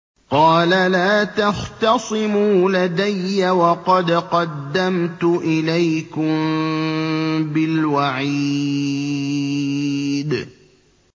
قَالَ لَا تَخْتَصِمُوا لَدَيَّ وَقَدْ قَدَّمْتُ إِلَيْكُم بِالْوَعِيدِ